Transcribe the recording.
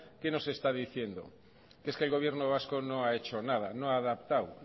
qué nos está diciendo es que el gobierno vasco no ha hecho nada no ha adaptado